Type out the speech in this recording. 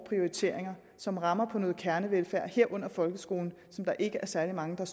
prioriteringer som rammer på noget kernevelfærd herunder folkeskolen som der ikke er særlig mange der